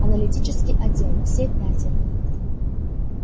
аналитический отдел все пятеро